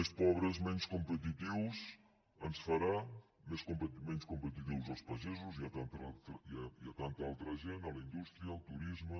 més pobres menys competitius ens farà menys competitius als pagesos i a tanta altra gent a la indústria al turisme